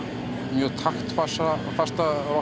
mjög taktfasta